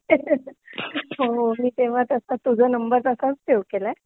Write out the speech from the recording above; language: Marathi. हो हो मी तेंव्हा तसाच तुझा नंबर तसाच सेवा केलाय